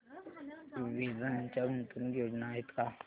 वेदांत च्या गुंतवणूक योजना आहेत का